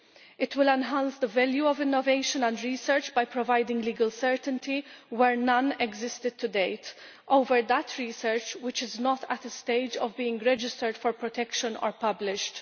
It will enhance the value of innovation and research by providing legal certainty, where none existed to date, over research which is not at a stage of being registered for protection or published.